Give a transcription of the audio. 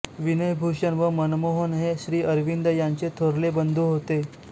विनयभूषण व मनमोहन हे श्रीअरविंद यांचे थोरले बंधू होते